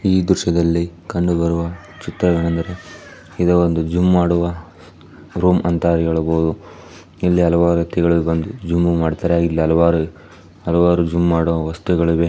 ಈ ದೃಶ್ಯ ದಲ್ಲಿ ಕಂಡುಬರುವ ಚಿತ್ರವೇನೆಂದರೆ ಇದು ಒಂದು ಜಿಮ್ ಮಾಡುವ ರೂಮ್ ಎಂದು ಹೇಳಬಹುದು ಇಲ್ಲಿ ಹಲವಾರು ವ್ಯಕ್ತಿಗಳು ಬಂದು ಜಿಮ್ ಮಾಡುತ್ತಾರೆ ಹಲವಾರು ಜಿಮ್ ಮಾಡುವ ವಸ್ತುಗಳಿವೆ.